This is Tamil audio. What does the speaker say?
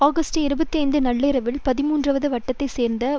ஆகஸ்ட் இருபத்தி ஐந்து நள்ளிரவில் பதிமூன்றுவது வட்டத்தைச் சேர்ந்த